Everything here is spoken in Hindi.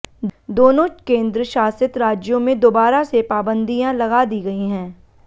दोनों केंद्र शासित राज्यों में दोबारा से पाबंदियां लगा दी गई हैं